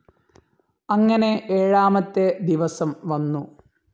അങ്ങനെ ഏഴാമത്തെ ദിവസം വന്നു.